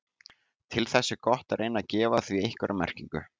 Til þess er gott að reyna að gefa því einhverja merkingu.